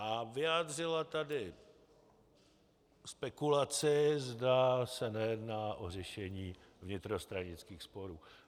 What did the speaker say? A vyjádřila tady spekulaci, zda se nejedná o řešení vnitrostranických sporů.